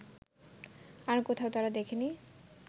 আর কোথাও তারা দেখেনি